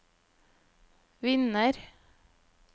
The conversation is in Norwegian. vinner